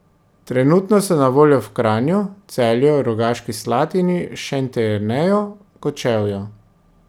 Trenutno so na voljo v Kranju, Celju, Rogaški Slatini, Šentjerneju, Kočevju.